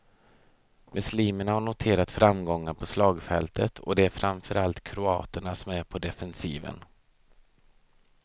Muslimerna har noterat framgångar på slagfältet och det är framförallt kroaterna som är på defensiven.